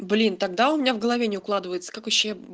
блин тогда у меня в голове не укладывается как вообще